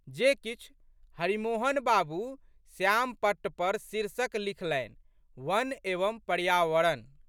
जे किछु। हरिमोहन बाबू श्यामपट्ट पर शीर्षक लिखलनि, वन एवं पर्यावरण"।